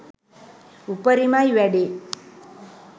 උපරිමයි වැඩේ